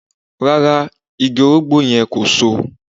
Rárá, igi orogbó yẹn kò So